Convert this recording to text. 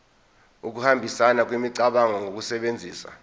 ukuhambisana kwemicabango ngokusebenzisa